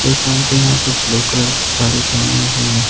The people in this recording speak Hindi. एक आंटी यहां पे ब्लू कलर की साड़ी पहनी हुई है।